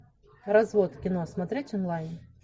развод кино смотреть онлайн